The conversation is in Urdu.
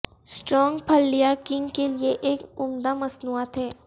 سٹرنگ پھلیاں کیننگ کے لئے ایک عمدہ مصنوعات ہیں